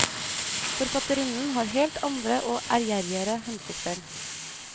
Forfatterinnen har helt andre og ærgjerrigere hensikter.